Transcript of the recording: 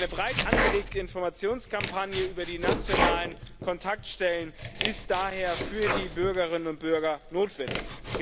Eine breit angelegte Informationskampagne über die nationalen Kontaktstellen ist daher für die Bürgerinnen und Bürger notwendig.